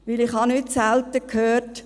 Denn ich habe nicht selten gehört: